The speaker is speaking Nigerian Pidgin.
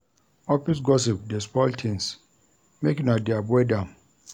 Office gossip dey spoil tins make una dey avoid am.